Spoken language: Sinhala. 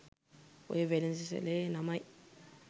ඔය වෙළඳසැලේ නමයි